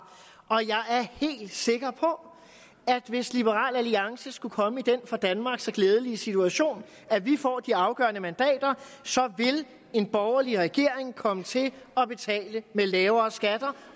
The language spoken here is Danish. og jeg er helt sikker på at hvis liberal alliance skulle komme i den for danmark så glædelige situation at vi får de afgørende mandater så vil en borgerlig regering komme til at betale med lavere skatter